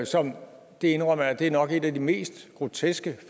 som det indrømmer jeg nok er et af de mest groteske